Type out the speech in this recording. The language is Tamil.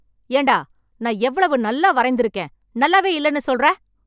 ஏண்டா நான் எவ்வளவு நல்லா வரைந்து இருக்கேன் நல்லாவே இல்லன்னு சொல்ற